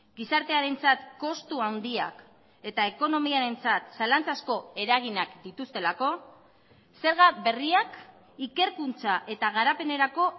gizartearentzat kostu handiak eta ekonomiarentzat zalantza asko eraginak dituztelako zerga berriak ikerkuntza eta garapenerako